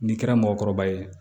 N'i kɛra mɔgɔkɔrɔba ye